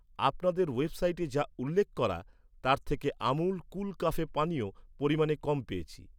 আপনাদের ওয়েবসাইটে যা উল্লেখ করা তার থেকে আমুল কুল কাফে পানীয় পরিমানে কম পেয়েছি।